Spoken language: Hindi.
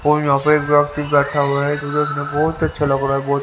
और यहां पे एक व्यक्ति बैठा हुआ है बहोत अच्छा लग रहा ब--